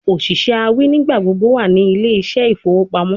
Oṣiṣẹ awin nigbagbogbo wa ni Ile ise ifowo pamo